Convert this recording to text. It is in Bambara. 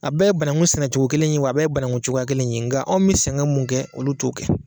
A bɛ bananku sɛnɛcogo kelen in ye wa a bɛ ye bananku cogoya kelen ye nka anw bɛ sɛgɛn mun kɛ olu t'o kɛ